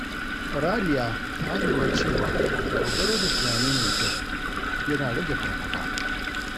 Raliya ta lura cewa dogaro da tunani mai kyau yana rage fargaba.